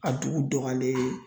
A dugu dɔgɔyalen